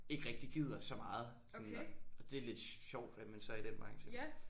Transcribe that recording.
Ikke rigtig gider så meget sådan og og det er lidt sjovt at man så er i den branche